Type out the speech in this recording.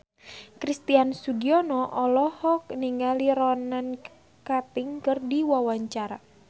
Christian Sugiono olohok ningali Ronan Keating keur diwawancara